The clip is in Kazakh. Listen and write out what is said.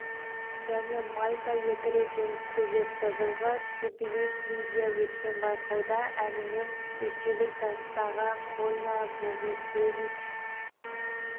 және мальта екі рет жеңіске жетті жылғы тбилисиде өткен байқауда әнімен ресейлік жастағы полина богусевич